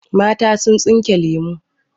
Mata sun tsinke lemu.